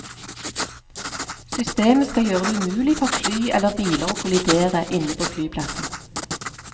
Systemet skal gjøre det umulig for fly eller biler å kollidere inne på flyplassen.